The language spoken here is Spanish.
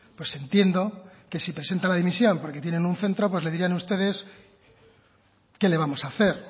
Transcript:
pues entiendo que si presenta la dimisión porque tienen un centro pues le dirán ustedes qué le vamos a hacer